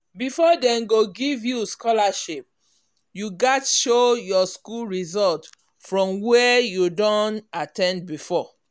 before dem go give you scholarship you gats show your school result from where you don at ten d before.